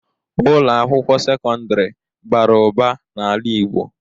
Ụlọ akwụkwọ sekọndrị bara ụba n'ala igbo.